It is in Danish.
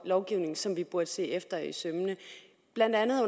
lovgivning som vi burde se efter i sømmene blandt andet